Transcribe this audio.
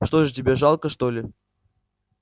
что же тебе жалко что ли